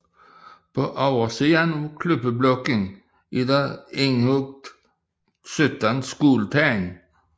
På oversiden af klippeblokken er der indhugget 17 skåltegn